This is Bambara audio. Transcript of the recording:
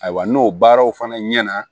Ayiwa n'o baaraw fana ɲɛna